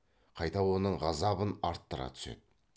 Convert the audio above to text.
қайта оның ғазабын арттыра түседі